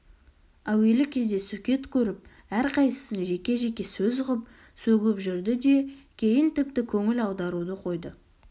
әуелі кезде сөкет көріп әрқайсысын жеке-жеке сөз ғып сөгіп жүрді де кейін тіпті көңіл аударуды қойды